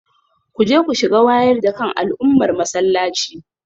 Kuje ku shiga wayar da kan al'ummar masallaci